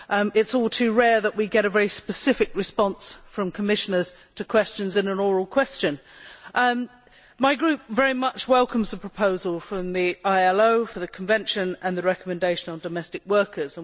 It is all too rare that we get a very specific response from Commissioners to questions in an oral question. My group very much welcomes the proposal from the ILO for the Convention and the recommendation on domestic workers.